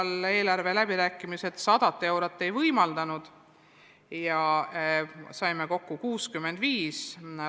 Tänavu eelarveläbirääkimistel me 100 eurot ei kaubelnud välja, saime kokku 65 eurot.